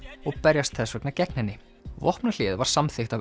og berjast þess vegna gegn henni vopnahléið var samþykkt af